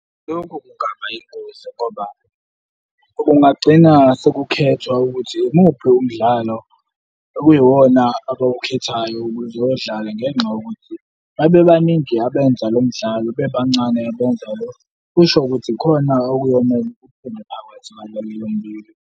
Lokhu kungaba yingozi ngoba kungagcina sekukhethwa ukuthi yimuphi lo mdlalo okuyiwona abawukhethayo ukuze owudlale ngenxa yokuthi babebaningi abenza lo mdlalo bebancane . Kusho ukuthi ikhona okuyomele kuphume phakathi kwaleli lombili.